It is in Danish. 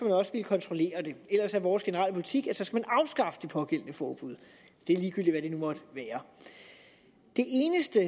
også ville kontrollere det ellers er vores generelle politik at man så skal afskaffe det pågældende forbud og det er ligegyldigt hvad det nu måtte være det eneste